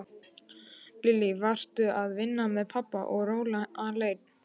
Lillý: Varstu að vinna með pabba og róla alein?